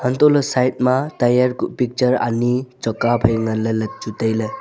untoh ley side ma tire kuh picture ani choka phai ngan ley le chu wai tailey.